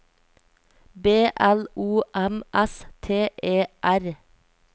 B L O M S T E R